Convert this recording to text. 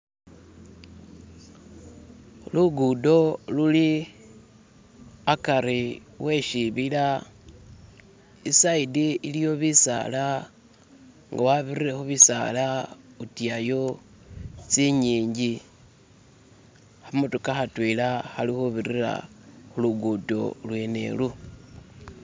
Lugudo luli akari we shibila, iside iliyo bisala nga wabirire khu bisala utuyayo tsingingi, khamotoka khatwela khali khubirira khulugudo lwene ulu.